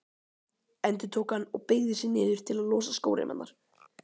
endurtók hann og beygði sig niður til að losa skóreimarnar.